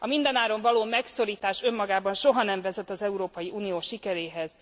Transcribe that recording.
A mindenáron való megszorítás önmagában soha nem vezet az Európai Unió sikeréhez.